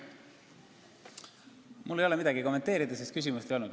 Mul ei ole midagi kommenteerida, sest küsimust ei olnud.